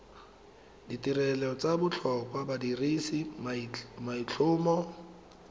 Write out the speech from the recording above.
ditirelo tsa botlhokwa badirisi maitlhomo